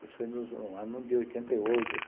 Isso foi no ano de oitenta e oito